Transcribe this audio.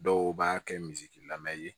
Dɔw b'a kɛ misi lamɛmɛ ye